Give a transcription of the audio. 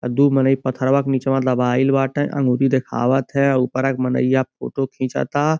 दू मनइ पथरावा के नीचेवा दबाईल बाटे अंगुरी दिखावत है उपरा के मनइया फोटो खिचता।